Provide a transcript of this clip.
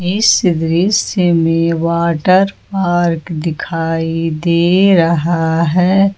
इस दृश्य में वाटर पार्क दिखाई दे रहा है।